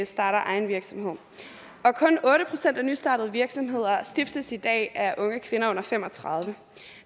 starter egen virksomhed kun otte procent af nystartede virksomheder stiftes i dag er unge kvinder under fem og tredive